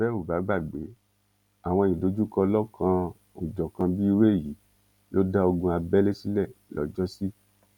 bẹ ò bá gbàgbé àwọn ìdojúkọ lọlọkanòjọkan bíi irú èyí ló dá ogun abẹlé sílẹ lọjọsí